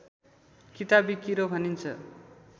किताबी किरो भनिन्छ